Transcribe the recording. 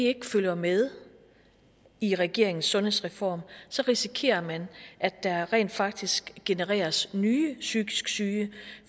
ikke følger med i regeringens sundhedsreform risikerer man at der rent faktisk genereres nye psykisk syge